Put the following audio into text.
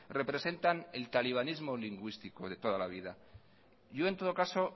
representan el talibanismo lingüístico de toda la vida yo en todo caso